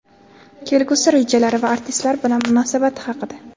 kelgusi rejalari va artistlar bilan munosabati haqida.